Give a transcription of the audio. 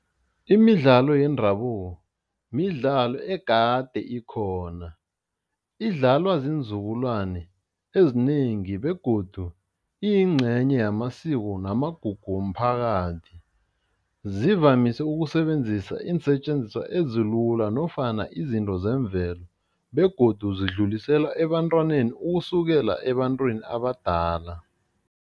Imidlalo yendabuko midlalo egade ikhona, idlalwa ziinzukulwane ezinengi begodu iyingcenye yamasiko namagugu womphakathi zivamise ukusebenzisa iinsetjenziswa ezilula nofana izinto zemvelo begodu zidlulisela ebantwaneni ukusukela ebantwini abadala.